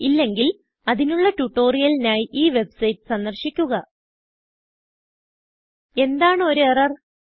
ഇല്ലെങ്കിൽ അതിനുള്ള ട്യൂട്ടോറിയലിനായി ഈ വെബ്സൈറ്റ് സന്ദർശിക്കുക എന്താണ് ഒരു എറർ160